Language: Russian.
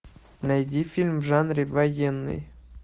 найди фильм в жанре военный